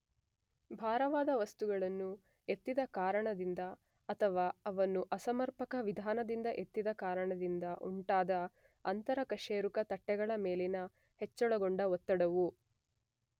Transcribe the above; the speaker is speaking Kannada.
ಭಾರವಾದ ವಸ್ತುಗಳನ್ನು ಎತ್ತಿದ ಕಾರಣದಿಂದ ಅಥವಾ ಅವನ್ನು ಅಸಮರ್ಪಕ ವಿಧಾನದಿಂದ ಎತ್ತಿದ ಕಾರಣದಿಂದ ಉಂಟಾದ ಅಂತರ-ಕಶೇರುಕ ತಟ್ಟೆಗಳ ಮೇಲಿನ ಹೆಚ್ಚಳಗೊಂಡ ಒತ್ತಡವು